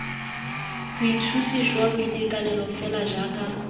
bothusi jwa boitekanelo fela jaaka